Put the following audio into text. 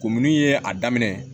Ko minnu ye a daminɛ